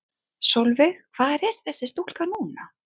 Sólveig: Hvar er þessi stúlka núna?